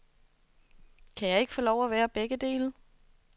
Kan jeg ikke få lov til at være begge dele?